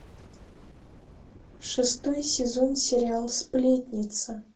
шестой сезон сериал сплетница